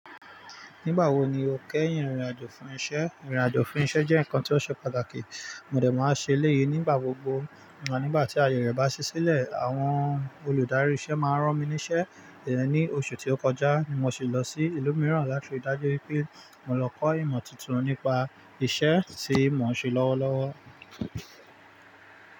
Nígbà wo ni o kẹ́yìn ìrìn àjò fún iṣẹ́? Ìrìn àjò fún iṣẹ́ jẹ́ nǹkan tí ó ṣe pàtàkì. Mòdè máa ṣe eleyi nígbà gbogbo nígbà tí ayẹ re bá ṣí sílẹ̀. Àwọn olùdarí iṣẹ́ máa rán mi ní iṣẹ́. Then, ní oṣù tí ó kọjá mo ṣi lọ sí ìlú mìíràn láti dájú wípé mo lọ kọ́ ìmọ̀ tuntun nípa iṣẹ́ tí mo ń ṣe lọ́wọ́lọ́wọ́.